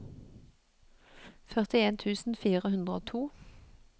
førtien tusen fire hundre og to